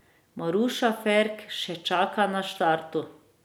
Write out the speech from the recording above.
Maruša Ferk še čaka na štartu.